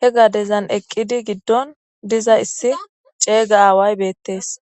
He gadeza eqidi gidon dizaysi c'egida aawayi bettes